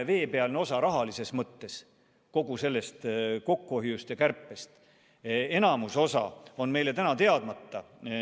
See on ju rahalises mõttes kogu sellest kokkuhoiust ja kärpimisest ainult jäämäe veepealne osa.